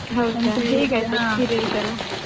ಹೌದಾ ಹ ಹೇಗೆ ಆಯ್ತು experience ಎಲ್ಲ